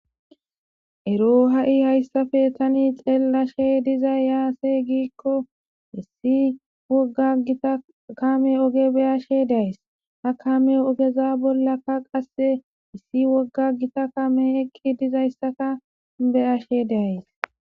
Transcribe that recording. Eroo ha7i hayssafe tani xeellashe dizay yaase giikko issi wogga gita kame oge beyashe days ha kame ogeza bollaka qasse issi wogga gita kame eqqi dizayssaka beyashe daays.